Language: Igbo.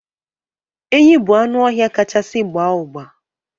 Enyí bụ anụ ọhịa kachasị gbaa ụgba